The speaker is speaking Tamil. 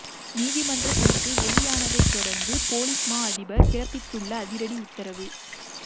நீதிமன்ற தீர்ப்பு வெளியானதைத் தொடர்ந்து பொலிஸ் மா அதிபர் பிறப்பித்துள்ள அதிரடி உத்தரவு